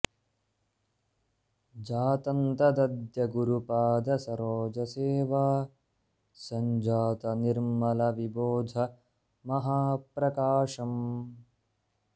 जातं तदद्य गुरुपाद सरोज सेवा सञ्जात निर्मल विबोध महाप्रकाशम्